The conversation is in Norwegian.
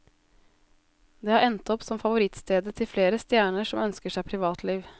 Det har endt opp som favorittstedet til flere stjerner som ønsker seg privatliv.